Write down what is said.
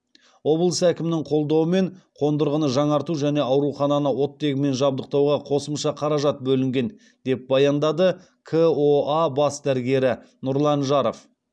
облыс әкімінің қолдауымен қондырғыны жаңарту және аурухананы оттегімен жабдықтауға қосымша қаражат бөлінген деп баяндады коа бас дәрігері нұрлан жаров